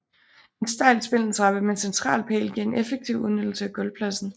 En stejl spindeltrappe med central pæl giver en effektiv udnyttelse af gulvpladsen